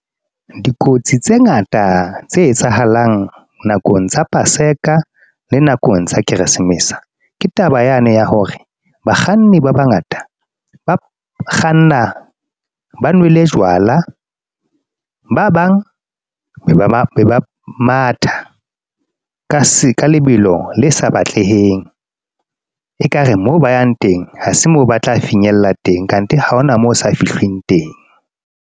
Dikotsi tse ngata tse etsahalang nakong tsa paseka, le nakong tsa keresemese. Ke taba yane ya hore bakganni ba bangata ba kganna ba nwele jwala. Ba bang be ba matha ka se ka lebelo le sa batleheng ekare mo ba yang teng, ha se mo ba tla finyella teng kante ha ho na moo o sa fihlwing teng.